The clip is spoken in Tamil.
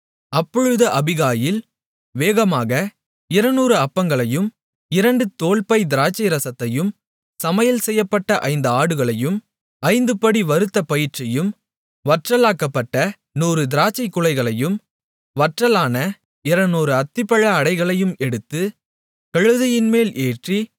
அப்பொழுது அபிகாயில் வேகமாக 200 அப்பங்களையும் இரண்டு தோல்பை திராட்சை ரசத்தையும் சமையல்செய்யப்பட்ட ஐந்து ஆடுகளையும் ஐந்துபடி வறுத்த பயிற்றையும் வற்றலாக்கப்பட்ட 100 திராட்சை குலைகளையும் வற்றலான 200 அத்திப்பழ அடைகளையும் எடுத்து கழுதைகள்மேல் ஏற்றி